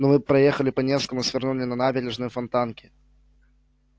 но мы проехали по невскому свернули на набережную фонтанки